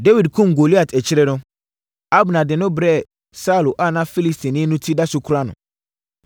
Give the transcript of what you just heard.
Dawid kumm Goliat akyire no, Abner de no brɛɛ Saulo a na Filistini no ti da so kura no.